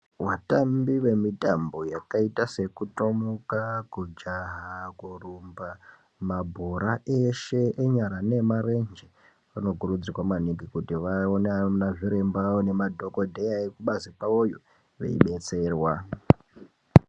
Vatambi vemitambo yakaita sekutomuka kujaha kurumba mabhora eshe enyara neemarenje vanokurudzirwa maningi kuti vaone anazviremba nemadhokodheya ekubazi kwavoyo veibetserwa.